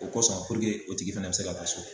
O kɔsɔn o tigi fɛnɛ bi se ka taa so.